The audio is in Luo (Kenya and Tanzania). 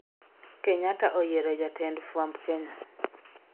kenyatta oyiero jatend fwamb kenya